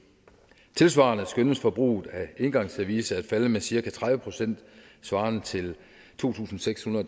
tilsvarende skønnes forbruget af engangsservice at falde med cirka tredive procent svarende til to tusind seks hundrede